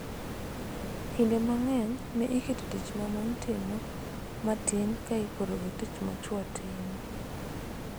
Kinde mang�eny ne iketo tich ma mon timo matin ka iporo gi tich ma chwo timo.